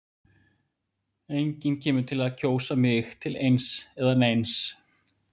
Enginn kemur til með að kjósa mig til eins eða neins.